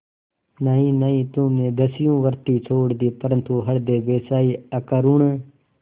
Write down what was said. नहीं नहीं तुमने दस्युवृत्ति छोड़ दी परंतु हृदय वैसा ही अकरूण